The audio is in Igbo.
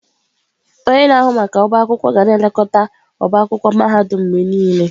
Onye na-ahụ maka ọbá akwụkwọ ga na-elekọta ọbá akwụkwọ mahadum mgbe niile.